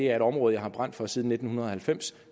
er et område jeg har brændt for siden nitten halvfems